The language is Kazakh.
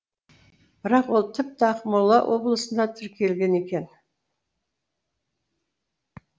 бірақ ол тіпті ақмола облысында тіркелген екен